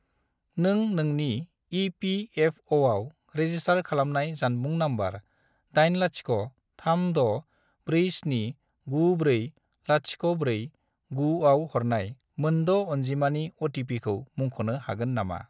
नों नोंनि इ.पि.एफ.अ'.आव रेजिस्टार खालामखानाय जानबुं नम्बर 80364794049 आव हरनाय मोन द' अनजिमानि अ.टि.पि.खौ मुंख'नो हागोन नामा?